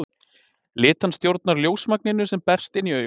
Litan stjórnar ljósmagninu sem berst inn í augað.